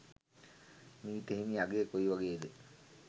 මීට හිමි අගය කොයි වගේද